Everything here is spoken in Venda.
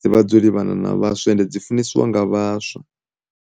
dzi vha dzo livhana na vhaswa ende dzi funesiwa nga vhaswa.